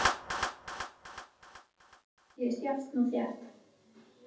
Orðaforðinn hefur einnig aukist jafnt og þétt.